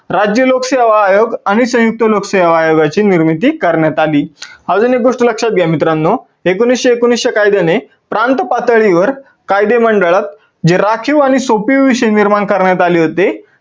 राज्य लोकसेवा आयोग आणि संयुक्त लोकसेवा आयोगाची निर्मिती करण्यात आली. अजून एक गोष्ट लक्षात घ्या मित्रांनो, एकोणविसशे एकोणवीस च्या कायद्याने प्रांत पातळीवर कायदेमंडळ हे राखीव आणि सोपिव विषयावर निर्माण करण्यात आलेले होते.